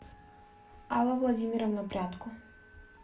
алла владимировна прядко